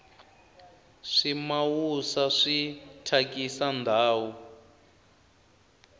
swimawusa swi thyakisa ndhawu